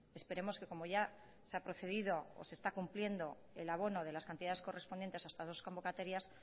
esperemos que como ya se ha procedido o se está cumpliendo el abono de las cantidades correspondientes a estas dos convocatorias